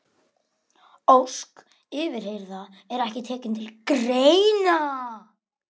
Ósk yfirheyrða er ekki tekin til greina.